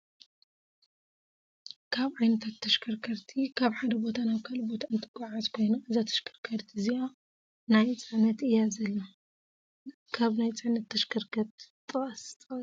ካብ ዓይነታት ተሽከርከርቲ ካብ ሓደ ቦታ ናብ ካሊእ ቦታ እተጓዓዕዝ ኮይና እዛ ተሽከርካሪት እዚኣ ናይ ፀዕነት እያ ዘላ። ነካብ ናይ ፅዕነት ተሽከርከርቲ ጥቀስ/ሲ